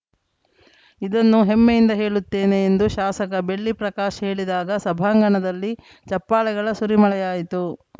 ಇದನ್ನು ಹೆಮ್ಮೆಯಿಂದ ಹೇಳುತ್ತೇನೆ ಎಂದು ಶಾಸಕ ಬೆಳ್ಳಿ ಪ್ರಕಾಶ್‌ ಹೇಳಿದಾಗ ಸಭಾಂಗಣದಲ್ಲಿ ಚಪ್ಪಾಳೆಗಳ ಸುರಿಮಳೆಯಾಯಿತು